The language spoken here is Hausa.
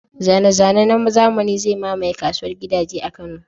Zane-zane na zamani zai mamaye kasuwar gidaje a Kano.